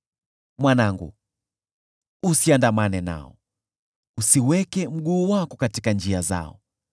Mwanangu, usiandamane nao. Usiweke mguu wako katika njia zao,